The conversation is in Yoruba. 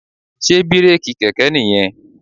Sé bírèkì kẹ̀kẹ́ nìyẹn?